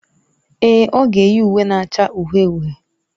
Èè, ọ ga-eyi uwe na-acha uhie uhie.